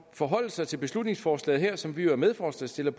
forholde sig til beslutningsforslaget her som vi er medforslagsstillere